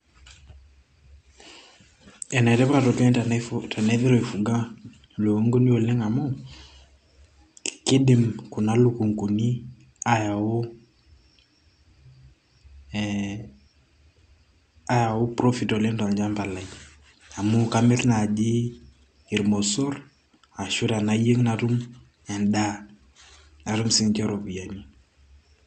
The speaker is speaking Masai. enetipat oleng tenaiteru aifuga ilukunguni oleng amu kidim kuna lukunguni ayau ee ayau profit oleng tolchamba lai amu kamirr naaji ilmosorr ashu tenayieng natum endaa natum siininche iropiyiani.